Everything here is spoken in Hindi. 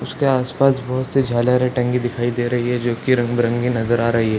उसके आस-पास बहुत से झालरे टंगी दिखाई दे रही है जो की रंग बिरंगी नजर आ रही है।